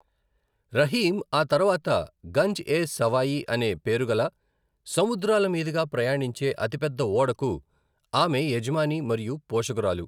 రహీమ్, ఆ తర్వాత గంజ్ ఎ సవాయి అనే పేరుగల సముద్రాల మీదుగా ప్రయాణించే అతిపెద్ద ఓడకు ఆమె యజమాని మరియు పోషకురాలు.